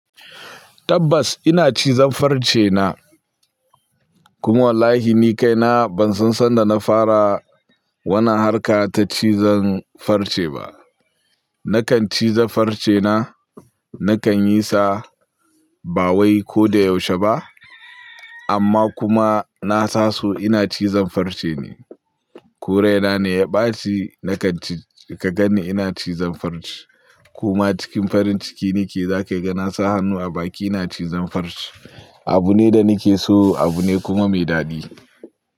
Tabbas ina cizon farce na. Kuma wallahi ni kaina ban san sanda na fara wannan harka ta cizon farce ba. Nakan ciza farce na, nakan yi sa ba wai ko da yaushe ba. Amma kuma na saso ina cizon farce ne. Koraina ne ya ɓaci na kanci ka gani ina cizon farce. Kuma cikin farin ciki nake za kai ga na sa hannu a baki ina cizon farce. Abu ne da nake so, abu ne kuma mai daɗi.